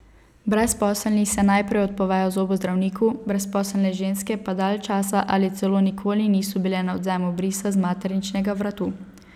Brezposelni se najprej odpovejo zobozdravniku, brezposelne ženske pa dalj časa ali celo nikoli niso bile na odvzemu brisa z materničnega vratu.